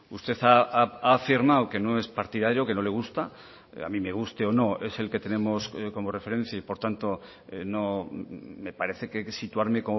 usted ha afirmado que no es partidario que no le gusta a mí me guste o no es el que tenemos como referencia y por tanto me parece que situarme